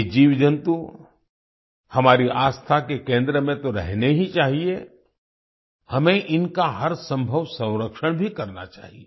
ये जीवजंतु हमारी आस्था के केंद्र में तो रहने ही चाहिए हमें इनका हर संभव संरक्षण भी करना चाहिए